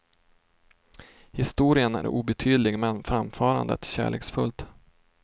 Historien är obetydlig men framförandet kärleksfullt.